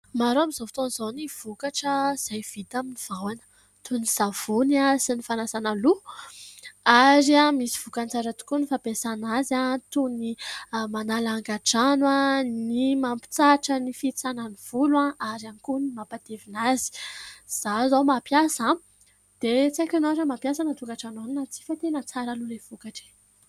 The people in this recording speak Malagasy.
Maro amin'izao fotaon'izao ny vokatra izay vita amin'ny vahona toy ny savony sy ny fanasana loha ary misy voka-tsara tokoa ny fampiasana azy toy ny manala angadrano, ny mampitsahatra, ny fihitsanan'ny volo ary ihany koa ny mampatevina azy. Izaho zao mampiasa, dia tsy aiko ianao raha mampiasa any an-tokatrano any na tsy fa tena tsara aloha ilay vokatra e !